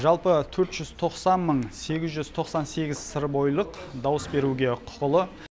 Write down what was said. жалпы төрт жүз тоқсан мың сегіз жүз тоқсан сегіз сырбойылық дауыс беруге құқылы